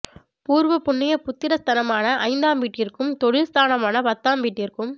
பூர்வபுண்ணிய புத்திர ஸ்தானமான ஐந்தாம் வீட்டிற்கும் தொழில் ஸ்தானமான பத்தாம் வீட்டிற்கும்